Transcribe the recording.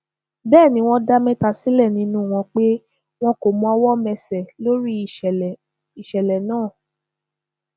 bẹẹ ni wọn dá mẹta sílẹ nínú wọn pé wọn kò mọwọ mẹsẹ lórí ìṣẹlẹ ìṣẹlẹ náà